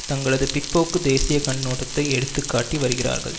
தங்களது பிற்போக்கு தேசிய கண்ணோட்டத்தை எடுத்து காட்டி வருகிறார்கள்